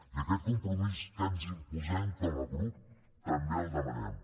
i aquest compromís que ens imposem com a grup també el demanem